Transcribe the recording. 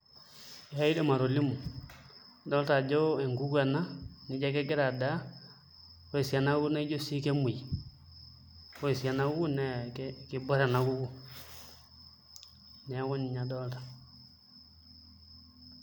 Ee aidim atolimu adolita ajo enkuku ena nijio egira adaa ore sii ena kuku naa ijio ekemuoi ore sii ena kuku naa kiborr ena kuku neeku ninye adolta.